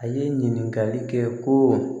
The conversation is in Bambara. A ye ɲininkali kɛ ko